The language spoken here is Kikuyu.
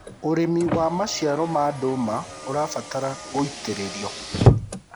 ũrĩmi wa maciaro ma nduma ũrabatara gũitiririo